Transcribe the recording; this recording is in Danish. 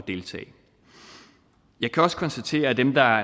deltage jeg kan også konstatere at dem der